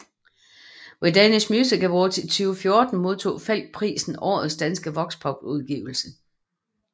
Ved Danish Music Awards i 2014 modtog Falch prisen Årets danske Voxpopudgivelse